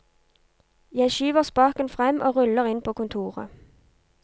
Jeg skyver spaken frem og ruller inn på kontoret.